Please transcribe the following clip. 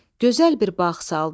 Gözəl bir bağ saldı.